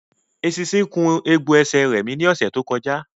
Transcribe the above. Eṣinṣin kun egbò ẹsẹ̀ rẹmi ní ọ̀sẹ̀ méjì sẹ́yìn